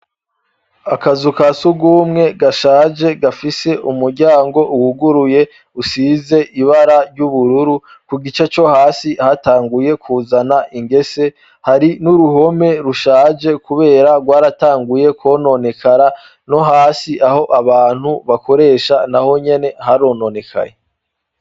Akazu ka sugumwe gashaje gafise umuryango uwuguruye usize ibara ry'ubururu ku gice co hasi hatanguye kuzana ingese hari n'uruhome rushaje, kubera rwaratanguye kwononekara no hasi aho abantu bakoresha na ho nyene h ronone kaye.